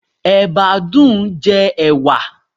Ẹ̀bá dùn-ún jẹ ẹ̀wà.